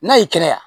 N'a y'i kɛnɛya